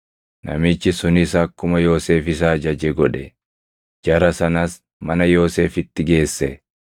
Namichi sunis akkuma Yoosef isa ajaje godhe; jara sanas mana Yoosefitti geesse.